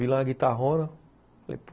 Vi lá a guitarrona, falei, pô,